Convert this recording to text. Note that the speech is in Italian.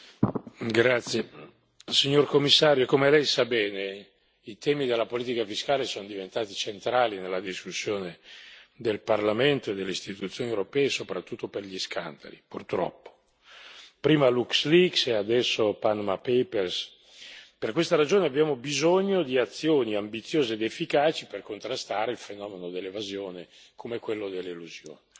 Signor Presidente, onorevoli colleghi, signor Commissario, come Lei sa bene, i temi della politica fiscale sono diventati centrali nella discussione del Parlamento e delle istituzioni europee, soprattutto per gli scandali, purtroppo prima LuxLeaks e adesso Panama Papers per questa ragione abbiamo bisogno di azioni ambiziose ed efficaci per contrastare il fenomeno dell'evasione come quello dell'elusione.